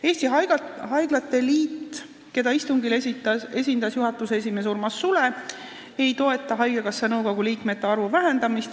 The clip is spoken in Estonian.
Eesti Haiglate Liit, keda istungil esindas juhatuse esimees Urmas Sule, ei toeta haigekassa nõukogu liikmete arvu vähendamist.